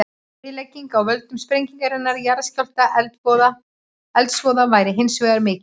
Eyðilegging af völdum sprengingarinnar, jarðskjálfta og eldsvoða væri hins vegar mikil.